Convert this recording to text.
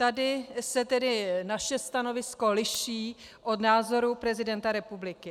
Tady se tedy naše stanovisko liší od názoru prezidenta republiky.